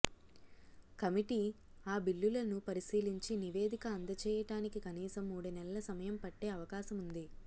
committee ఆ బిల్లులను పరిశీలించి నివేదిక అందజేయటానికి కనీసం మూడు నెలల సమయం పట్టే అవకాశముంది